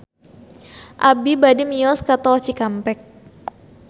Abi bade mios ka Tol Cikampek